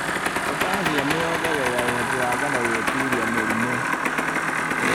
Potassiumu yongagĩrĩra ũhoti wa ngano gwĩtiria mĩrimũ.